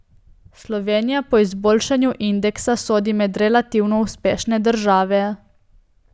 Slovenija po izboljšanju indeksa sodi med relativno uspešne države.